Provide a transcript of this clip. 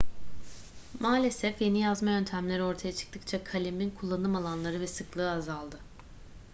maalesef yeni yazma yöntemleri ortaya çıktıkça kalemin kullanım alanları ve sıklığı azaldı